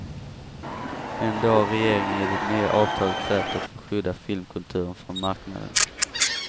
Ändå har regeringen i det nya avtalet krävt att få skydda filmkulturen från marknaden.